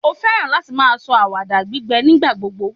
o fẹràn láti ma sọ awada gbígbẹ nígbà gbogbo